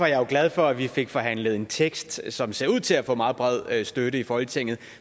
jeg glad for at vi fik forhandlet en tekst som ser ud til at få meget bred støtte i folketinget